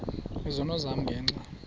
izono zam ngenxa